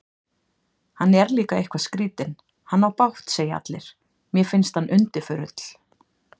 Hann er líka eitthvað skrýtinn, hann á bágt segja allir, mér finnst hann undirförull.